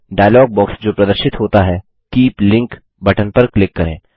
dialogue box जो प्रदर्शित होता है कीप लिंक बटन पर क्लिक करें